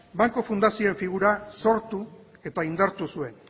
banku fundazio figura sortu eta indartu zuen